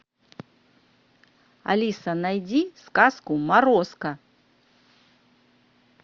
алиса найди сказку морозко